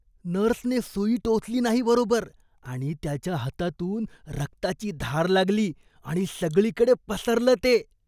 नर्सने सुई टोचली नाही बरोबर आणि त्याच्या हातातून रक्ताची धार लागली आणि सगळीकडे पसरलं ते.